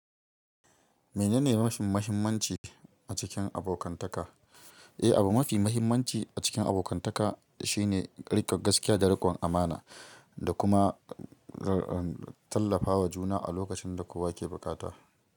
Menene mafi muhimmanci a cikin abokantaka? Eh, abu mafi muhimmanci a cikin abokantaka shine riƙon gaskiya da riƙon amana, da kuma tallafawa juna a lokacin da kowa ke bukata.